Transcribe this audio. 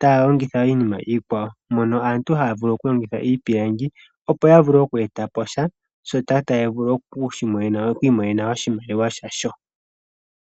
ta ya longitha iinima iikwawo. Mono aantu ha ya vulu oku longitha iipilangi opo ya vule oku e ta po sha, shoka ta ya vulu oku imonena oshimaliwa sha sho.